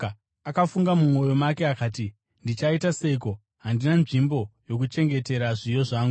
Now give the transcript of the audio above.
Akafunga mumwoyo make akati, ‘Ndichaita seiko? Handina nzvimbo yokuchengetera zviyo zvangu.’